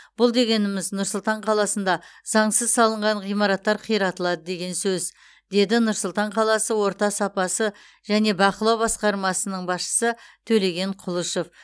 бұл дегеніміз нұр сұлтан қаласында заңсыз салынған ғиматтар қиратылады деген сөз деді нұр сұлтан қаласы орта сапасы және бақылау басқармасының басшысы төлеген құлышев